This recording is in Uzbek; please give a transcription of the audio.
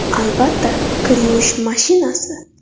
Albatta, kir yuvish mashinasi!